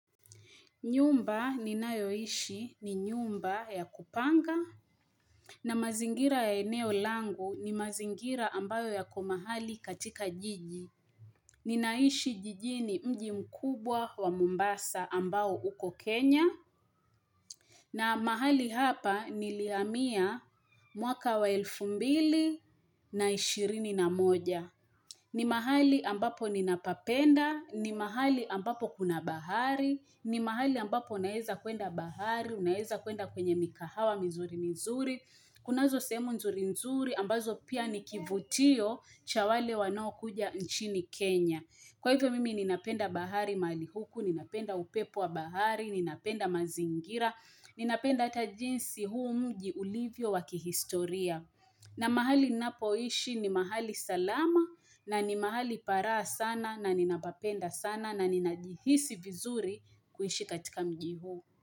Nyumba ni nayoishi ni nyumba ya kupanga na mazingira ya eneo langu ni mazingira ambayo yako mahali katika jiji. Ninaishi jijini mji mkubwa wa Mombasa ambao uko Kenya na mahali hapa nilihamia mwaka wa elfu mbili na ishirini na moja. Ni mahali ambapo ninapapenda, ni mahali ambapo kuna bahari, ni mahali ambapo naeza kwenda bahari, unaeza kwenda kwenye mikahawa mizuri mizuri, kunazo sehemu nzuri nzuri ambazo pia nikivutio cha wale wanao kuja nchini Kenya. Kwa hivyo mimi ninapenda bahari mahali huku, ninapenda upepo wa bahari, ninapenda mazingira, ninapenda hata jinsi huu mji ulivyo wa kihistoria. Na mahali ninapoishi ni mahali salama na ni mahali pa raha sana na ninapapenda sana na ninajihisi vizuri kuishi katika mji huu.